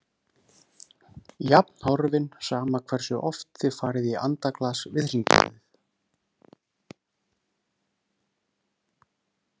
Jafn horfinn sama hversu oft þið farið í andaglas við hringborð.